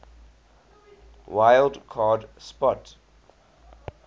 wild card spot